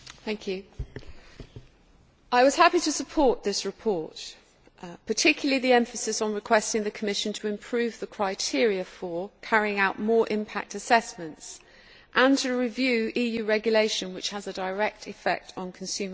Madam President, I was happy to support this report, particularly the emphasis on requesting the Commission to improve the criteria for carrying out more impact assessments and to review EU regulations which have a direct effect on consumer policy.